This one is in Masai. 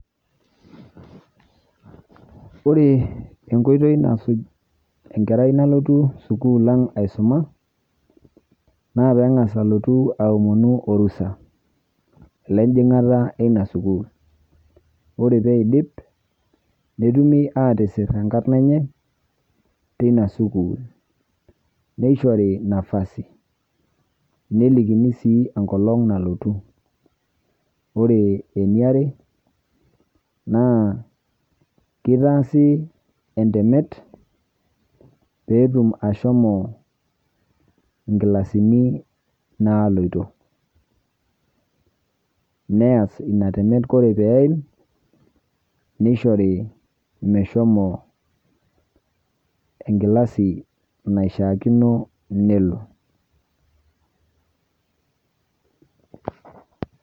Ore enkoitoi nasuj enkerai nalotu sukul ang' aisoma, naa peeng'as alotu aomonu  orusa lenyjing'ata eina sukul. Ore peeidip, netumi aatisirr enkarna enye teina sukul neishori nafasi nelikini sii enkolong' nalotu. Ore eniare naa keitaasi entemet peetum ashomo inkilasini naaloito neas ina temet kore peeim neishori meshomo enkilasi naishaakino nelo.